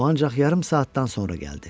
O ancaq yarım saatdan sonra gəldi.